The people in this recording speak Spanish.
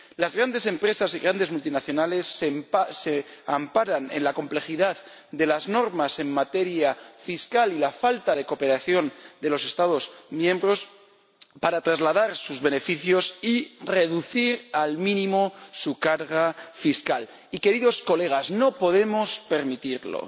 Las grandes empresas y grandes multinacionales se amparan en la complejidad de las normas en materia fiscal y la falta de cooperación de los Estados miembros para trasladar sus beneficios y reducir al mínimo su carga fiscal y, queridos colegas, no podemos permitirlo.